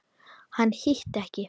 Hann hitti ekki.